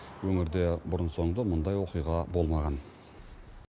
өңірде бұрын соңды мұндай оқиға болмаған